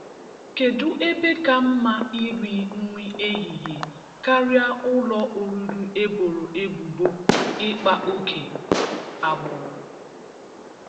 Kedụ ebe ka mma iri nri ehihie karịa ụlọ oriri eboro ebubo ịkpa ókè agbụrụ?